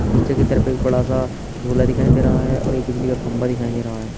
पीछे की तरफ बड़ा सा झूला दिखाई दे रहा है और एक बिजली का खंबा दिखाई दे रहा है।